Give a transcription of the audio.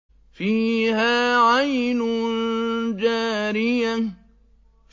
فِيهَا عَيْنٌ جَارِيَةٌ